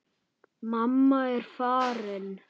Mamma er farin.